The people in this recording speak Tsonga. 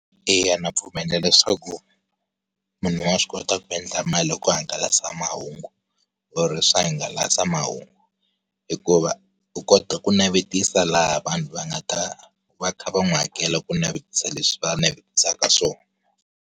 Eya ndza pfumela leswaku, munhu wa swi kota ku endla mali hi ku hangalasa mahungu, or-i hi swihangalasamahungu. Hikuva u kota ku navetisa laha vanhu va nga ta, va kha va n'wi hakela ku navetisa leswi va navetisaka swona.